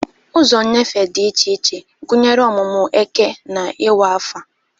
Ụzọ nnyefe dị iche iche, gụnyere ọmụmụ eke na iwa afo.